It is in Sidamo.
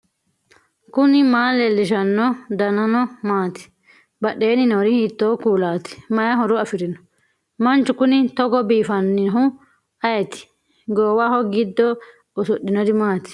knuni maa leellishanno ? danano maati ? badheenni noori hiitto kuulaati ? mayi horo afirino ? manchu kuni togo biifannnihu ayeeti goowaho giddo usudhinori mati